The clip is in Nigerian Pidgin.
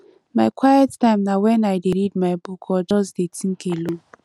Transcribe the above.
my quiet time na wen i dey read my book or just dey tink alone